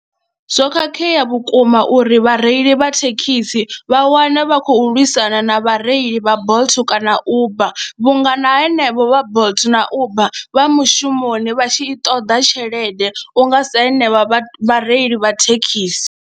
Zwo khakhea vhukuma uri vhareili vha thekhisi vha wane vha khou lwisana na vhareili vha Bolt kana Uber vhunga na henevho vha Bolt na Uber vha mushumoni vha tshi i ṱoḓa tshelede u nga sa henevha vhareili vha thekhisi.